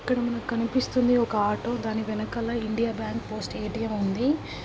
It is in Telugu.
ఇక్కడ కనిపిస్తుంది ఒక ఆటో దాని వెనకాల ఇండియా బ్యాంక్ పోస్ట్ ఏ_టీ_ఎం ఉంది.